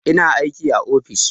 Ina aiki a ofis